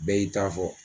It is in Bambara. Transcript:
Bɛɛ y'i ta fɔ